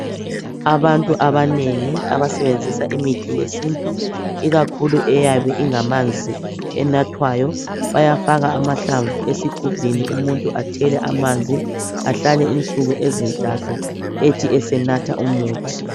Abantu abanengi abasebenzisa imithi yesintu, ikakhulu eyabe ingamanzi enathwayo. Bayafaka amahlamvu esigubhini, umuntu athele amanzi, ahlale insuku ezintathu, ethi esenatha umuthi.